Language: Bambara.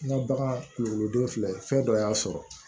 N ka bagan kulukoroden filɛ fɛn dɔ y'a sɔrɔ